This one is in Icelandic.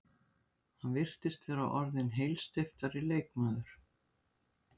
Hann virðist vera orðinn heilsteyptari leikmaður.